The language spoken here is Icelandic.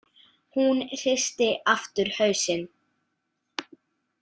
Hún hristi aftur hausinn.